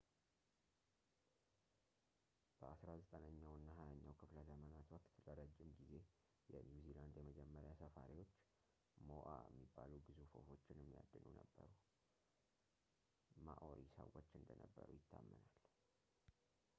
በአስራ ዘጠነኛው እና ሃያኛው ክፍለ ዘመናት ወቅት ለረጅም ጊዜ የኒው ዚላንድ የመጀመሪያ ሰፋሪዎች ሞኣ የሚባሉ ግዙፍ ወፎችን የሚያድኑ ማኦሪ ሰዎች እንደነበሩ ይታመናል